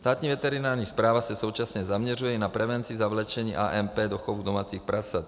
Státní veterinární správa se současně zaměřuje i na prevenci zavlečení AMP do chovu domácích prasat.